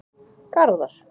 Garðar